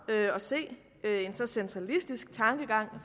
at se en så centralistisk tankegang